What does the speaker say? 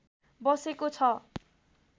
बसेको छ